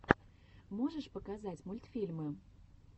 можешь показать мультфильмы